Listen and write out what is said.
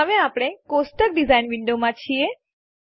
હવે આપણે table design વિન્ડોમાં છીએ